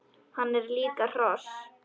Hann er líka hross!